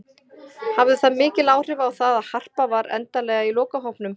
Hafði það mikil áhrif á það að Harpa var endanlega í lokahópnum?